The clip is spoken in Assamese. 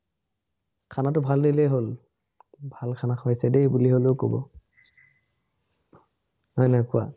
খানাটো ভাল দিলেই হল। ভাল খানা খুৱাইছে বুলি লেও কব। হয় নাই কোৱা?